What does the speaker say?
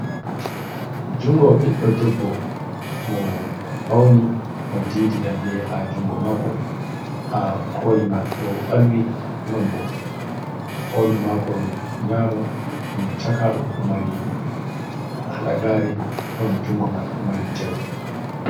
Junngo ɓiɗɗo debbo mo fawni mo diidi lalle haa junngo maako. Haa kooli man ɗo ɓalwi non boo hoondu maako nyaamo ɗum caka ɗo'o ɗo mari halagaare, non junngo man ɗo mari jawe.